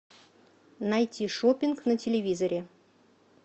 найти шоппинг на телевизоре